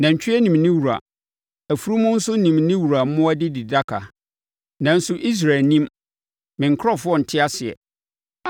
Nantwie nim ne wura, afunumu nso nim ne wura mmoa adididaka, nanso Israel nnim, me nkurɔfoɔ nte aseɛ.”